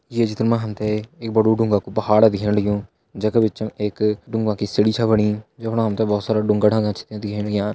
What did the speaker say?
ये चित्र मा हम तैं एक बड़ु ड़ूंगा कू पहाड़ दिखेण लग्युं जै का बीच एक ड़ूंगा की सीडी छ बणि जफणा हम तैं बहुत सारा ड़ूंगा ड़ांगा छ दिखेण लग्यां।